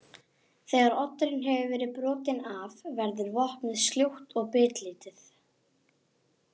Þegar oddurinn hefur verið brotinn af verður vopnið sljótt og bitlítið.